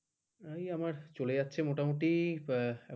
ওই আমার চলে যাচ্ছে মোটামুটি ।